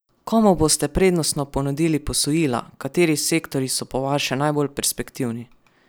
Komu boste prednostno ponudili posojila, kateri sektorji so po vaše najbolj perspektivni?